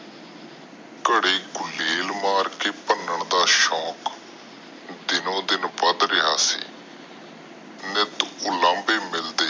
ਘਰੇ ਗੁਲਾਇਲ ਮੱਰ ਕੇ ਭਣਾਂ ਦਾ ਸ਼ੌਂਕ ਦਿਨ ਦਿਨ ਵੱਧ ਰਿਹਾ ਸੀ ਨਿਤ ਉਲੰਬੇ ਮਿਲਦੇ